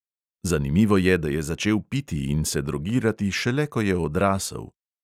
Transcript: Zanimivo je, da je začel piti in se drogirati šele, ko je odrasel.